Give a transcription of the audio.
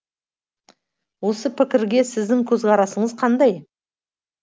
осы пікірге сіздің көзқарасыңыз қандай